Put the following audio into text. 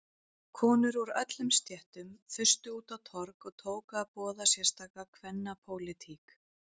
Konur úr öllum stéttum þustu út á torg og tóku að boða sérstaka kvennapólitík.